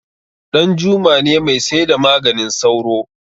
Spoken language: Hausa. danjuma ne mai saida maganin sauro